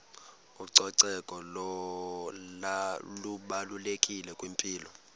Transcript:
ucoceko lubalulekile kwimpilo